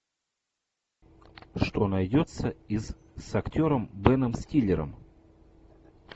что найдется из с актером беном стиллером